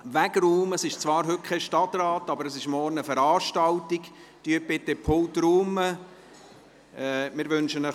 Das Präsidium wünscht Ihnen ein schönes Wochenende, eine gute Heimkehr und am Montag eine gute Rückkehr in den Rat.